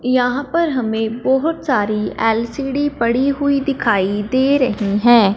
यहाँ पर हमें बहोत सारी एल_सी_डी पड़ी हुई दिखाई दे रही है।